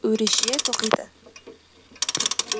өреше тоқиды